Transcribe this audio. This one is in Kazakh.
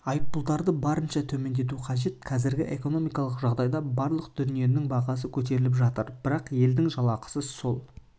айыппұлдарды барынша төмендету қажет қазіргі экономикалық жағдайда барлық дүниенің бағасы көтеріліп жатыр бірақ елдің жалақысы сол